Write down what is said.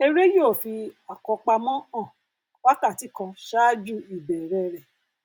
eré yóò fi àkọpamọ hàn wákàtí kan ṣáájú ìbẹrẹ rẹ